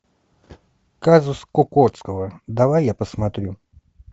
казус кукоцкого давай я посмотрю